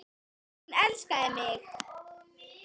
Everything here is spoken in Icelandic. Hún elskaði mig.